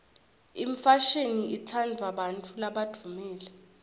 imfashini itsandvwa bantfu labadvumile